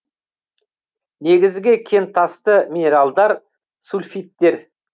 негізгі кентасты минералдар сульфидтер